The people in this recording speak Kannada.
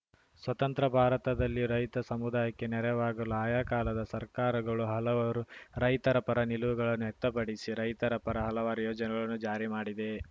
ಸ್ವತಂತ್ರ ಭಾರತದಲ್ಲಿ ರೈತ ಸಮುದಾಯಕ್ಕೆ ನೆರವಾಗಲು ಆಯಾ ಕಾಲದ ಸರ್ಕಾರಗಳು ಹಲವರು ರೈತರ ಪರ ನಿಲುವುಗಳನ್ನು ವ್ಯಕ್ತಪಡಿಸಿ ರೈತರ ಪರ ಹಲವಾರು ಯೋಜನೆಗಳನ್ನು ಜಾರಿಮಾಡಿದೆ